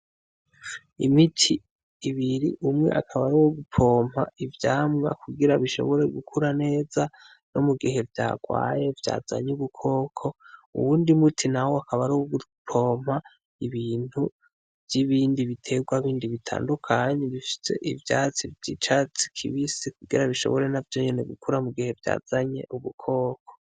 Imiti ibiri, umwe akaba ari uwo gupompa ivyamwa kugira bishobore gukura neza no mugihe vya gwaye vyazanye ubukoko, uwundi muti nawo akaba ari uwo gupomba ibintu vy'ibindi bitegwa bindi bitandukanye bifise ivyatsi vy'icatsi kibisi kugira bishobore navyo nyene gukura mu gihe vyazanye ubukoko.